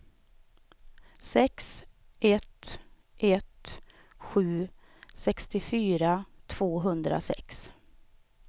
sex ett ett sju sextiofyra tvåhundrasex